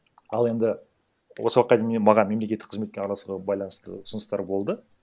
ал енді осы уақытқа дейін маған мемлекеттік қызметке араласуға байланысты ұсыныстар болды